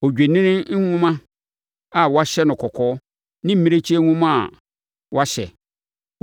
odwennini nhoma a wɔahyɛ no kɔkɔɔ ne mmirekyie nhoma a wɔahyɛ, okuo dua;